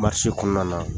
kɔnɔna na